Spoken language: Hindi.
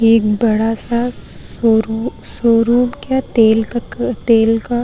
एक बड़ा सा शोरूम शोरूम क्या तेल तेल का --